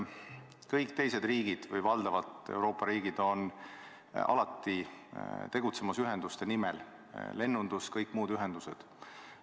Kõik teised riigid on või Euroopa riigid on valdavalt alati tegutsemas ühenduste nimel, lennundus- ja kõigi muude ühenduste nimel.